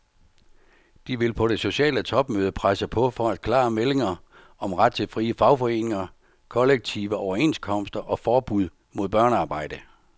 De vil på det sociale topmøde presse på for klare meldinger om ret til frie fagforeninger, kollektive overenskomster og forbud mod børnearbejde.